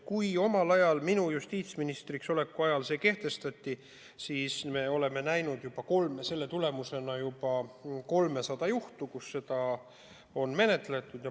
Omal ajal, minu justiitsministriks oleku ajal see kehtestati ja me oleme näinud selle tulemusena juba 300 juhtumit, kui seda on menetletud.